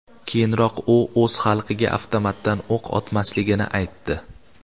Keyinroq u o‘z xalqiga avtomatdan o‘q otmasligini aytdi .